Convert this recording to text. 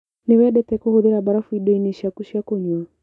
Nĩwendete kũhũthĩra mbarafu indoinĩ ciaku cia kũnyua?